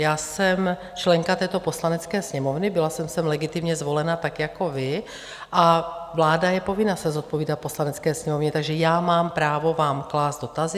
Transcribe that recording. Já jsem členka této Poslanecké sněmovny, byla jsem sem legitimně zvolena tak jako vy, a vláda je povinna se zodpovídat Poslanecké sněmovně, takže já mám právo vám klást dotazy.